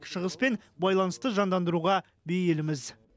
шығыспен байланысты жандандыруға бейілміз